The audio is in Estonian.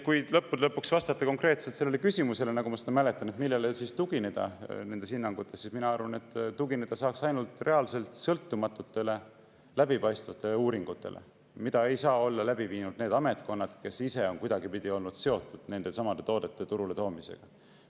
Kui lõppude lõpuks vastata konkreetselt sellele küsimusele, nagu ma seda mäletan, millele tugineda nendes hinnangutes, siis mina arvan, et tugineda saab ainult reaalselt sõltumatutele, läbipaistvatele uuringutele, mida ei saa olla läbi viinud ametkonnad, kes ise on kuidagipidi olnud seotud nendesamade toodete turule toomisega.